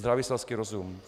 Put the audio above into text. Zdravý selský rozum.